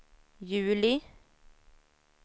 juli